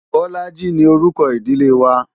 Bolaji ni orúkọ ìdílé wa.